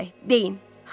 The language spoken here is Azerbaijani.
Daş ürək, deyin.